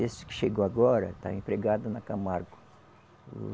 Esse que chegou agora está empregado na Camargo.